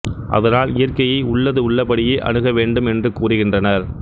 அதனால் இயற்கையை உள்ளது உள்ளபடியே அணுக வேண்டும் என்று கூறுகின்றனர்